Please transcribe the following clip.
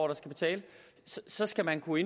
der skal betale så skal man kunne